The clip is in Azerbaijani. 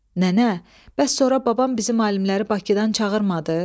Nənə, bəs sonra babam bizim alimləri Bakıdan çağırmadı?